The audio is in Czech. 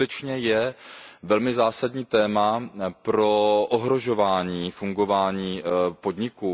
To skutečně je velmi zásadní téma pro ohrožování fungování podniků.